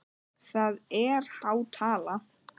Það er há tala.